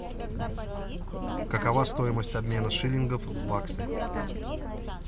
какова стоимость обмена шиллингов в баксы